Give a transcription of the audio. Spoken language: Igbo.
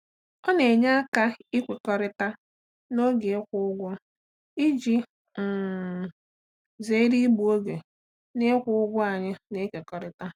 Ọ na-enye aka ikwekọrịta n'oge ịkwụ ụgwọ iji um zere igbu oge n'ịkwụ ụgwọ anyị na-ekekọrịta.